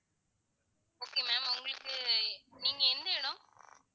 okay ma'am உங்களுக்கு நீங்க எந்த இடம்